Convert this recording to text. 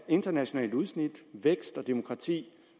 internationalt udsyn vækst og demokrati